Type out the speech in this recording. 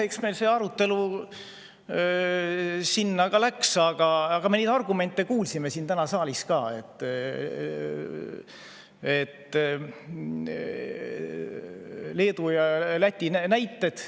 Eks meil see arutelu sinna ka läks, aga me neid argumente kuulsime ka siin saalis, neid Leedu ja Läti näiteid.